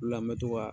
O de la n bɛ to ka